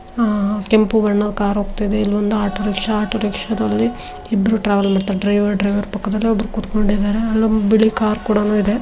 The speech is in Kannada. ಆ-ಕೆಂಪು ಬಣ್ಣದ ಕಾರ್ ಹೋಗ್ತಾ ಇದೆ ಇಲ್ಲೊಂದ್ ಆಟೊರಿಕ್ಷಾ ಆಟೋರಿಕ್ಷದಲ್ಲಿ ಇಬ್ಬರು ಟ್ರಾವೆಲ್ ಮಾಡ್ತಾ ಇದ್ದಾರೆ ಡ್ರೈವರ್ ಡ್ರೈವರ್ ಪಕ್ಕದಲ್ಲಿ ಒಬ್ಬರು ಕುತ್ಕೊಂಡಿದಾರೆ ಅಲ್ಲೊಂದು ಬಿಳೀ ಕಾರ್ ಕೂಡನೂ ಇದೆ.